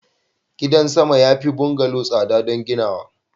gida sama ya fi bungalow tsada don ginawa